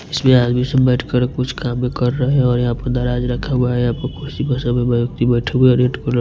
इसमें आदमी सब बैठ कर कुछ काम कर रहे हैं और यहाँ पर रखा हुआ हैं यहाँ पर कोन सी भाषा में व्यक्ति बैठे हुआ हैं --